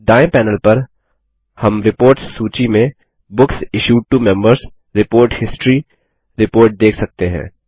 दायें पैनल पर हम रिपोर्ट्स सूची में books issued to Members report history report देख सकते हैं